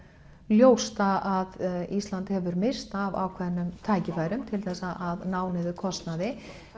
ljóst að Ísland hefur misst af ákveðnum tækifærum til þess að ná niður kostnaði